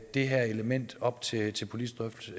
det her element op til til politisk drøftelse